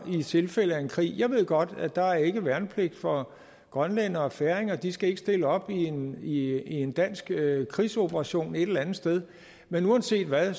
i tilfælde af en krig jeg ved godt at der ikke er værnepligt for grønlændere og færinger de skal ikke stille op i en dansk krigsoperation et eller andet sted men uanset hvad